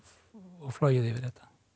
flogið yfir þetta